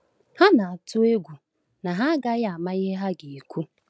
Ha na-atụ egwu na ha agaghị ama ihe ha ga-ekwu.